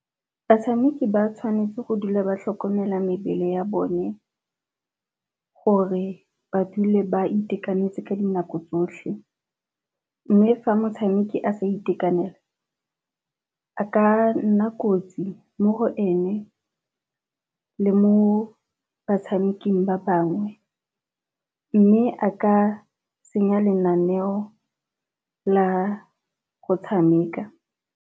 Batshameki ba tshwanetse go dula ba tlhokomele mebele ya bone gore ba dule ba itekanetse ka dinako tsotlhe, mme fa motshameki a sa itekanela a ka nna kotsi mo go ene le mo batshameking ba bangwe mme a ka senya lenaneo la go tshameka.